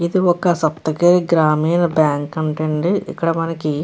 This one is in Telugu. ఇది ఒక సప్తగిరి గ్రామీణ బ్యాంక్ అంట అండి ఇక్కడ మనకి --